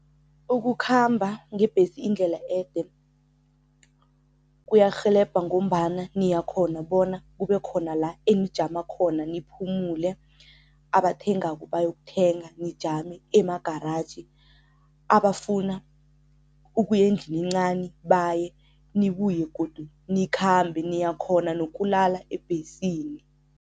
Ukukhamba ngebhesi indlela ede kuyarhelebha ngombana niyakhona bona kube khona la enijama khona niphumule, abathengako bayokuthenga, nijame emagaraji, abafuna ukuya endlini encani baye nibuye godu nikhambe. Niyakhona nokulala ebhesini.